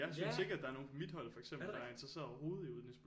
Ja er det rigtigt